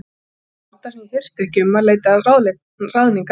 Það var gáta sem ég hirti ekki um að leita ráðningar á.